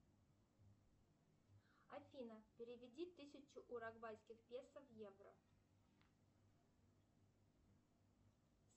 афина переведи тысячу уругвайских песо в евро